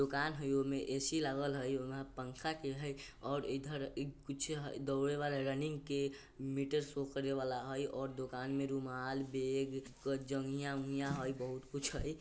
दुकान हय ओय में ए_सी लागल हय ओय में पंखा के हय और इधर इ कुछ दौड़े वाला रनिंग के मीटर शो करे वला हय और दुकान में रुमाल बैग जंघिया-उंघिया हय बहुत कुछ हय।